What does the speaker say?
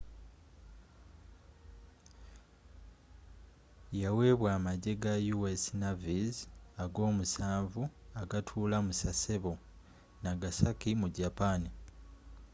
yaweebwa amajje ga u.s. navy's ag'omusanvu agatuula mu sasebo nagasaki mu japan